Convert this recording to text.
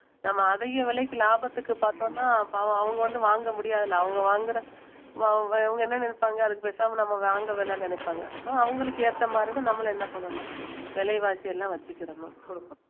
நம்ம அதிக விலைக்கு லாபத்துக்கு பார்த்தோம்னா பாவம் அவங்க வந்து வாங்க முடியாது இல்லை அவங்க வாங்குற அவ~ அவங்க என்ன நினைப்பாங்க அதுக்கு பேசாம நம்ம வாங்க வேண்டாம்ன்னு நினைப்பாங்க so அவங்களுக்கு ஏத்த மாதிரிதான் நம்மளும் என்ன பண்ணணும் விலைவாசி எல்லாம் வச்சுக்கிறணும் கொடுக்கணும்